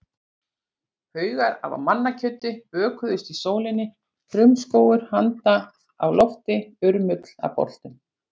Haugar af mannakjöti bökuðust í sólinni, frumskógur handa á lofti, urmull af boltum.